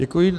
Děkuji.